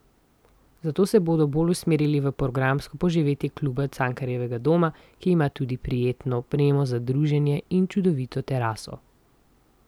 Zato se bodo bolj usmerili v programsko poživitev Kluba Cankarjevega doma, ki ima tudi prijetno opremo za druženje in čudovito teraso.